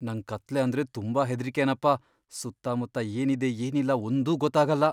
ನಂಗ್ ಕತ್ಲೆ ಅಂದ್ರೆ ತುಂಬಾ ಹೆದ್ರಿಕೆನಪ್ಪ, ಸುತ್ತಮುತ್ತ ಏನಿದೆ ಏನಿಲ್ಲ ಒಂದೂ ಗೊತ್ತಾಗಲ್ಲ.